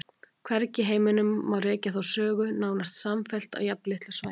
Hvergi í heiminum má rekja þá sögu nánast samfellt á jafnlitlu svæði.